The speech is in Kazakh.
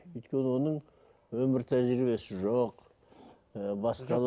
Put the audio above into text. өйткені оның өмір тәжірибесі жоқ ы